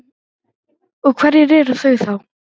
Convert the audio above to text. Og hver eru þau þá?